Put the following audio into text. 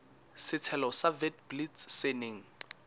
setshelo sa witblits se neng